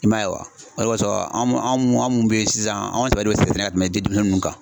I m'a ye wa o de kɔsɔn an mun an mun an mun bɛ ye sisan an an sɛbɛ don sɛnɛ la ka tɛmɛ denmisɛnniw kan.